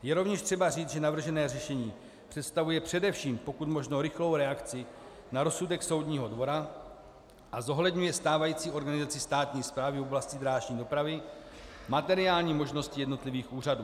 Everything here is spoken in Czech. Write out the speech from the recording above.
Je rovněž třeba říci, že navržené řešení představuje především pokud možno rychlou reakci na rozsudek Soudního dvora a zohledňuje stávající organizaci státní správy v oblasti drážní dopravy, materiální možnosti jednotlivých úřadů.